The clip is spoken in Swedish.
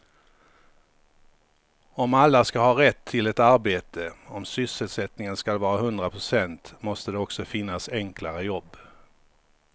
Om alla ska ha rätt till ett arbete, om sysselsättningen ska vara hundra procent måste det också finnas enklare jobb.